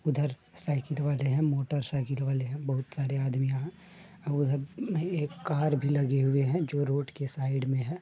उधर साइकिल वाले हैं मोटर साइकिल वाले हैं बहुत सारे आदमी हैं यहाँ। आ उधर एक कार भी लगी हुई है जो रोड के साइड में है।